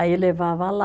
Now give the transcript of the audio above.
Aí levava lá.